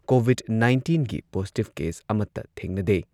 COVID ꯅꯥꯏꯟꯇꯤꯟꯒꯤ positive case ꯑꯃꯠꯇ ꯊꯦꯡꯅꯗꯦ꯫